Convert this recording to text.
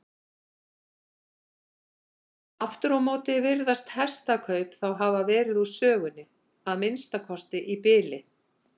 Aftur á móti virðast hestakaup þá hafa verið úr sögunni, að minnsta kosti í bili.